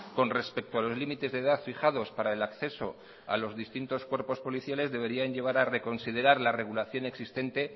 con respecto a los límites de edad fijados para el acceso a los distintos cuerpos policiales deberían llevar a reconsiderar la regulación existente